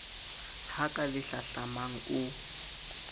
ha ka le hlahlamang o